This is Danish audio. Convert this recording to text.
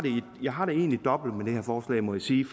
jeg har det egentlig dobbelt med det her forslag må jeg sige